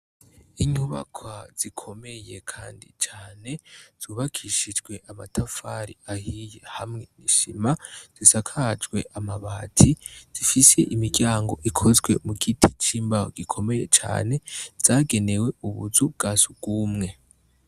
Inyubaka zikomeye, kandi cane zubakishijwe amatafari ahiye hamwe nishima zisakajwe amabati zifise imiryango ikozwe mu giti c'imbaho gikomeye cane zagenewe ubuzu bwa sugumwe.